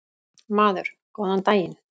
Maður: Góðan daginn.